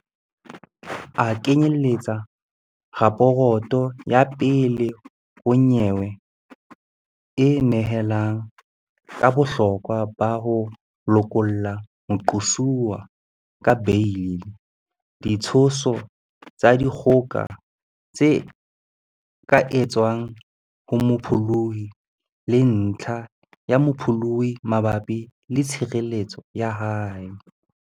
A knye-lletsa raporoto ya pele ho nyewe e nehelang ka bohlokwa ba ho lokolla moqosuwa ka beili, ditsho-so tsa dikgoka tse ka etswang ho mopholohi, le ntlha ya mopholohi mabapi le tshireletseho ya hae.